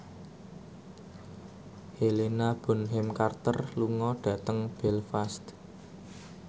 Helena Bonham Carter lunga dhateng Belfast